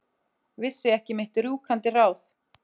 Vissi ekki mitt rjúkandi ráð.